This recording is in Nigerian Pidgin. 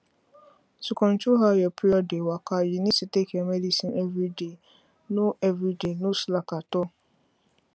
to control how your period dey waka you need to take your medicine everyday no everyday no slack at all